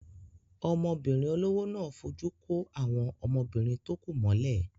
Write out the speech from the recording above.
Ọmọbìnrin olówó náà fojú kó àwọn ọmọbìnrin tó kù mọ́lẹ̀.